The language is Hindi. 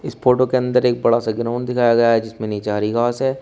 इस फोटो के अंदर एक बड़ा सा ग्राउंड दिखाया गया है जिसमे नीचे हरि घास है।